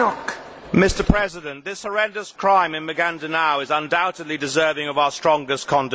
Mr President, this horrendous crime in Maguindanao is undoubtedly deserving of our strongest condemnation.